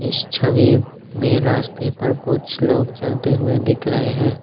इस छवि में रास्ते पर कुछ लोग चलते हुए दिख रहे हैं।